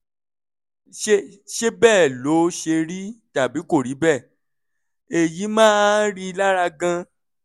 ṣé ṣé bẹ́ẹ̀ ló ṣe rí tàbí kò rí bẹ́ẹ̀? èyí máa ń rí i lára gan-an